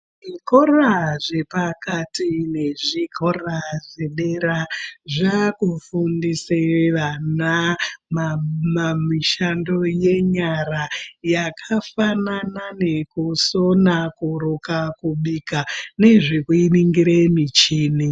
Zvikora zvepakati nezvikora zvedera, zvaakufundise vana mamamishando yenyara, yakafanana nekusona ,kuruka, kubika, nezvekuningire michini.